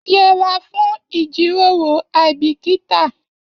Yẹ'ra fún ijiroro aibikita!